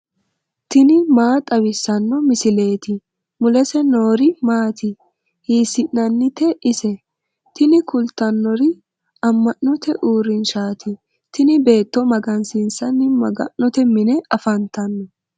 tini maa xawissanno misileeti ? mulese noori maati ? hiissinannite ise ? tini kultannori amma'note uurrinshaati tini beetto magansiissanni maga'note mine afantanno.